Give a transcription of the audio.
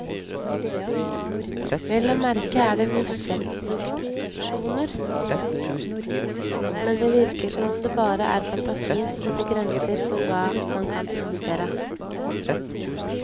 Vel å merke er det nisjeproduksjoner, men det virker som om det bare er fantasien som setter grenser for hva man kan produsere.